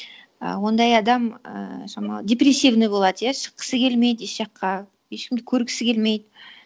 і ондай адам ііі шамалы депрессивный болады иә шыққысы келмейді еш жаққа ешкімді көргісі келмейді